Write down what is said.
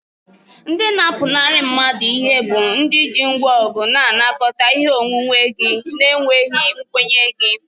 Ndị na-apụnara mmadụ ihe bụ ndị ji ngwa ọgụ na-anakọta ihe onwunwe gị na-enweghị nkwenye gị.